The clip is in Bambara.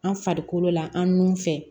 An farikolo la an nun fɛ